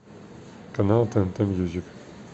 канал тнт мьюзик